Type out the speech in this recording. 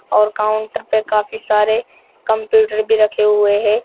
और काउंटर पर काफी सारे कंप्यूटर भी रखे हुए हैं।